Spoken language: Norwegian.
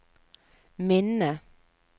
minne